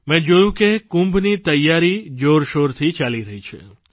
મેં જોયું કે કુંભની તૈયારી જોરશોરથી ચાલી રહી છે